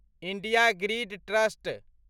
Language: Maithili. India grid trust